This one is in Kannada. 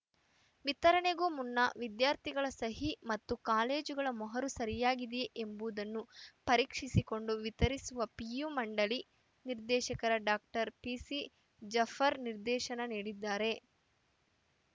ವಿತರಣೆಗೂ ಮುನ್ನ ವಿದ್ಯಾರ್ಥಿಗಳ ಸಹಿ ಮತ್ತು ಕಾಲೇಜುಗಳ ಮೊಹರು ಸರಿಯಾಗಿದೆಯೇ ಎಂಬುದನ್ನು ಪರೀಕ್ಷಿಸಿಕೊಂಡು ವಿತರಿಸುವಂತೆ ಪಿಯು ಮಂಡಳಿ ನಿರ್ದೇಶಕರ ಡಾಕ್ಟರ್ ಪಿಸಿ ಜಾಫರ್‌ ನಿರ್ದೇಶನ ನೀಡಿದ್ದಾರೆ